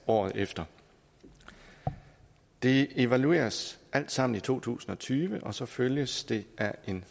året efter det evalueres alt sammen i to tusind og tyve og så følges det af en